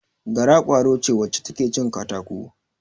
Gara, ƙwaro ce wacce ta ke cin katako.